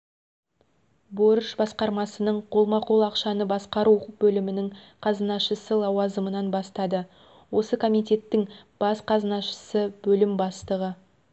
борыш басқармасының қолма-қол ақшаны басқару бөлімінің қазынашысы лауазымынан бастады осы комитеттің бас қазынашысы бөлім бастығы